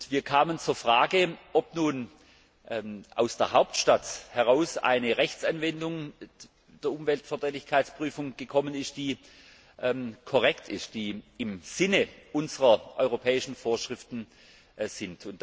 Wir kamen zur Frage, ob nun aus der Hauptstadt heraus eine Rechtsanwendung der Umweltverträglichkeitsprüfung gekommen ist, die korrekt ist und im Sinne unserer europäischen Vorschriften ist.